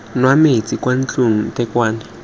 nwa metsi kwa ntlong ntekwane